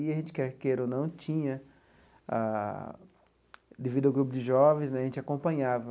E a gente quer queira ou não tinha a, devido ao grupo de jovens né, a gente acompanhava.